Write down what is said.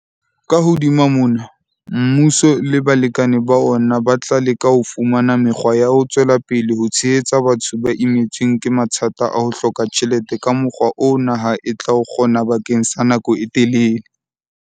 Ka hodima mona, mmuso le balekane ba ona ba tla leka ho fumana mekgwa ya ho tswela pele ho tshehetsa batho ba imetsweng ke mathata a ho hloka tjhelete ka mokgwa oo naha e tla o kgona bakeng sa nako e telele.